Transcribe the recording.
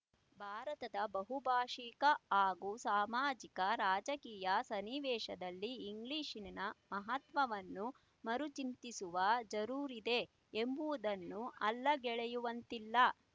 ಭಾರತದ ಬಹುಭಾಶಿಕ ಹಾಗೂ ಸಾಮಾಜಿಕರಾಜಕೀಯ ಸನ್ನಿವೇಶದಲ್ಲಿ ಇಂಗ್ಲೀಷಿ ನ ಮಹತ್ವವನ್ನು ಮರುಚಿಂತಿಸುವ ಜರೂರಿದೆ ಎಂಬುವುದನ್ನು ಅಲ್ಲಗಳೆಯುವಂತಿಲ್ಲ